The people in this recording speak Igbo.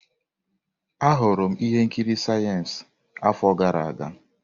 Ahụrụ m ihe nkiri siyensị afọ gara aga.